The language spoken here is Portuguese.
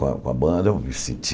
Com a com a banda eu me senti...